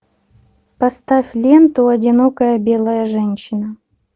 поставь ленту одинокая белая женщина